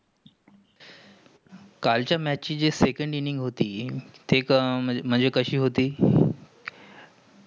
कालाचा match जे second inning होती? ते म्हणजे कशी होती?